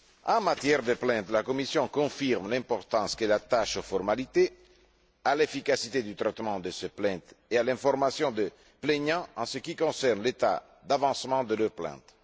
En matière de plaintes, la Commission confirme l'importance qu'elle attache aux formalités, à l'efficacité du traitement de ces plaintes et à l'information des plaignants en ce qui concerne l'état d'avancement de leurs plaintes.